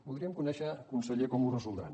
voldríem conèixer conseller com ho resoldran